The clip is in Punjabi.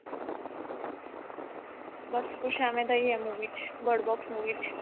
ਬਸ ਕੁੱਝ ਏਵੇਂ ਦਾ ਹੀ ਆ movie ਚ bird box movie ਚ